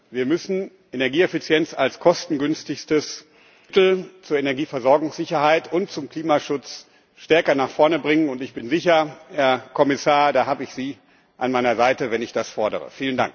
Wir müssen Energieeffizienz als kostengünstigstes Mittel zur Energieversorgungssicherheit und zum Klimaschutz stärker nach vorne bringen, und ich bin sicher, Herr Kommissar, da habe ich Sie an meiner Seite, wenn ich das fordere.